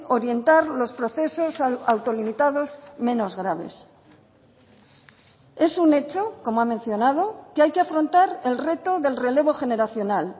orientar los procesos autolimitados menos graves es un hecho como ha mencionado que hay que afrontar el reto del relevo generacional